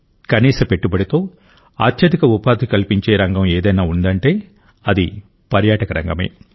కనీస పెట్టుబడితో అత్యధిక ఉపాధి కల్పించే రంగం ఏదన్నా ఉందంటే అది పర్యాటక రంగమే